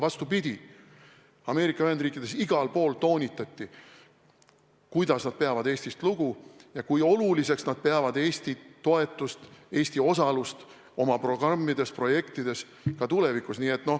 Vastupidi, Ameerika Ühendriikides igal pool toonitati, et nad peavad Eestist lugu ja kui oluliseks nad peavad Eesti toetust, Eesti osalust oma programmides-projektides ka tulevikus.